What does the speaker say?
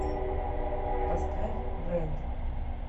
поставь брэнд